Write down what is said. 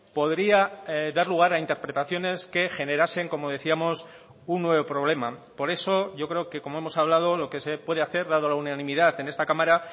podría dar lugar a interpretaciones que generasen como decíamos un nuevo problema por eso yo creo que como hemos hablado lo que se puede hacer dado la unanimidad en esta cámara